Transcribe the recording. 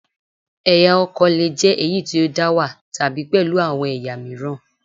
Ẹ̀yà ọkọ̀ lè jẹ́ èyí tí ó dá wà, tàbí pẹ̀lú àwọn ẹ̀yà mìíràn